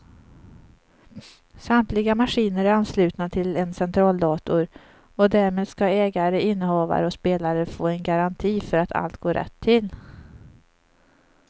Samtliga maskiner är anslutna till en centraldator och därmed ska ägare, innehavare och spelare få en garanti för att allt går rätt till.